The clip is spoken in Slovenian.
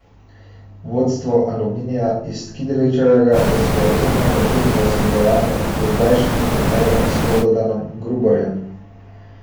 Vodstvo Aluminija iz Kidričevega je sporazumno prekinilo sodelovanje z dozdajšnjim trenerjem Slobodanom Gruborjem.